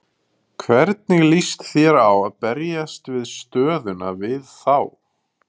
Hvernig lýst þér á að berjast við stöðuna við þá?